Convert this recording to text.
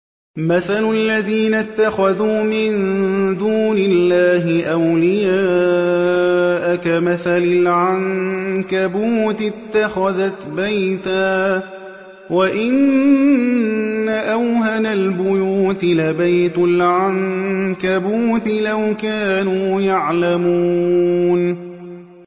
مَثَلُ الَّذِينَ اتَّخَذُوا مِن دُونِ اللَّهِ أَوْلِيَاءَ كَمَثَلِ الْعَنكَبُوتِ اتَّخَذَتْ بَيْتًا ۖ وَإِنَّ أَوْهَنَ الْبُيُوتِ لَبَيْتُ الْعَنكَبُوتِ ۖ لَوْ كَانُوا يَعْلَمُونَ